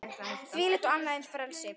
Þvílíkt og annað eins frelsi!